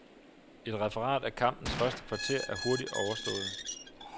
Et referat af kampens første kvarter er hurtigt overstået.